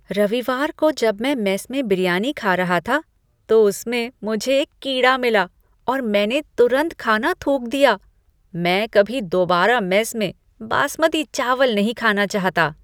रविवार को जब मैं मेस में बिरयानी खा रहा था, तो उसमें मुझे एक कीड़ा मिला और मैंने तुरंत खाना थूक दिया। मैं कभी दोबारा मेस में बासमती चावल नहीं खाना चाहता।